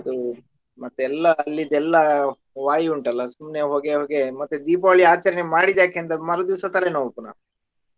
ಅದು ಮತ್ತೆ ಎಲ್ಲಾ ಅಲ್ಲಿದೆಲ್ಲಾ ವಾಯು ಉಂಟಲ್ಲ ಸುಮ್ನೆ ಹೊಗೆ ಹೊಗೆ ಮತ್ತೆ Deepavali ಆಚರಣೆ ಮಾಡಿದ್ಯಾಕೆ ಅಂತ ಮರು ದಿವ್ಸ ತಲೆನೋವು ಪುನಃ.